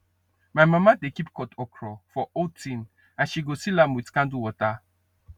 my mama dey keep cut okra for old tin and she go seal am with candle water